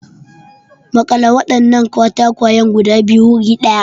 Makale wadannan katakwayen guda biyu guri daya.